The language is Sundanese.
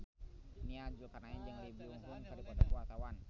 Nia Zulkarnaen jeung Lee Byung Hun keur dipoto ku wartawan